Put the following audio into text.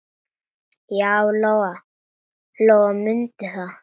Já, Lóa-Lóa mundi það.